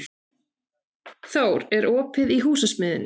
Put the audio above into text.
Thór, er opið í Húsasmiðjunni?